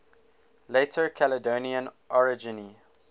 later caledonian orogeny